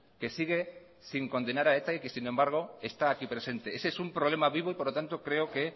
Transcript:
que sigue sin condenar a eta y sin embargo está aquí presente ese es un problema vivo y por lo tanto creo que